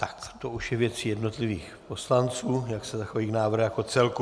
Tak to už je věcí jednotlivých poslanců, jak se zachovají k návrhu jako celku.